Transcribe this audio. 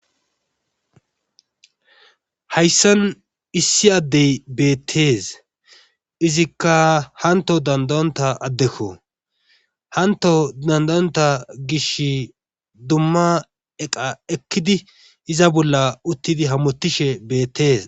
Hayssan issi adde beetees. izikka hanto danda'onna addekko. Hantto danda'onna gishi dumma eqqa ekki di iza bolli hamutishe beetees.